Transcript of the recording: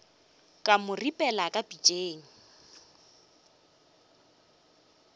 ka mo ripelela ka pitšeng